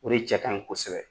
O de cɛkaɲin kosɛbɛ